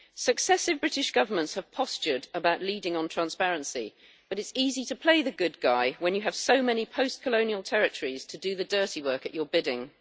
Successive British Governments have postured about leading on transparency but it is easy to play the good guy when you have so many post colonial territories to do the dirty work at your bidding.